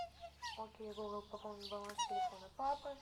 окей гугл пополнить баланс телефона папы